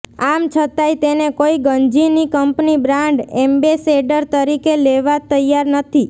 આમ છતાંય તેને કોઈ ગંજીની કંપની બ્રાન્ડ એમ્બેસેડર તરીકે લેવા તૈયાર નથી